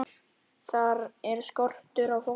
Þar er skortur á fólki.